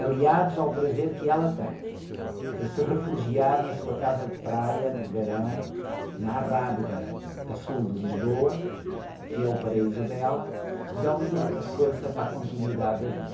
aliados ao prazer que ela tem de se refugiar na sua casa de praia, no verão, na Arrábida, a sul de Lisboa, que é o paraíso dela, dão-lhe a força para a continuidade da vida.